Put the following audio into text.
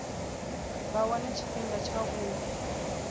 vha wane tshifhinga tsha u